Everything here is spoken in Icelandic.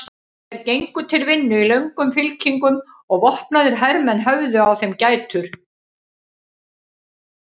Þeir gengu til vinnu í löngum fylkingum og vopnaðir hermenn höfðu á þeim gætur.